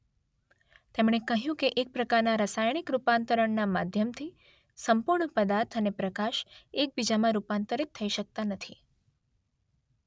તેમણે કહ્યું કે એક પ્રકારના રાસાયણિક રૂપાંતરણના માધ્યમથી સંપૂર્ણ પદાર્થ અને પ્રકાશ એકબીજામાં રૂપાંતરિત થઈ શકતા નથી .